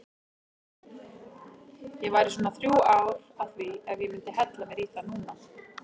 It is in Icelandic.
Ég væri svona þrjú ár að því ef ég myndi hella mér í það núna.